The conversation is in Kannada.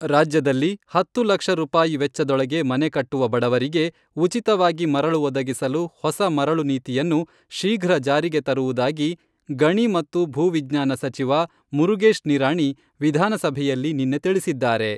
ರಾಜ್ಯದಲ್ಲಿ ಹತ್ತು ಲಕ್ಷ ರೂಪಾಯಿ ವೆಚ್ಚದೊಳಗೆ ಮನೆ ಕಟ್ಟುವ ಬಡವರಿಗೆ, ಉಚಿತವಾಗಿ ಮರಳು ಒದಗಿಸಲು ಹೊಸ ಮರಳು ನೀತಿಯನ್ನು ಶೀಘ್ರ ಜಾರಿಗೆ ತರುವುದಾಗಿ ಗಣಿ ಮತ್ತು ಭೂ ವಿಜ್ಞಾನ ಸಚಿವ ಮುರುಗೇಶ್ ನಿರಾಣಿ ವಿಧಾನಸಭೆಯಲ್ಲಿ ನಿನ್ನೆ ತಿಳಿಸಿದ್ದಾರೆ.